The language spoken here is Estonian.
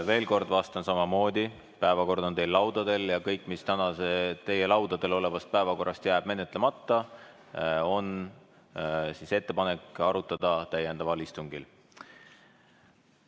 Veel kord vastan samamoodi: päevakord on teil laudadel ja kõik, mis jääb täna teie laudadel olevast päevakorrast menetlemata, arutatakse täiendaval istungil, selline on ettepanek.